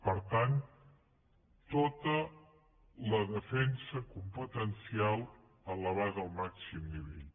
per tant tota la defensa competencial elevada al màxim nivell